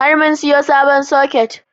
Har mun siyo sabon soket